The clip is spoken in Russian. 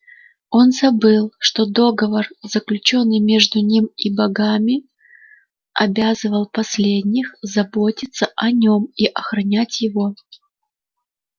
он забыл что договор заключённый между ним и богами обязывал последних заботиться о нём и охранять его